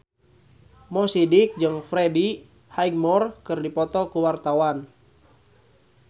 Mo Sidik jeung Freddie Highmore keur dipoto ku wartawan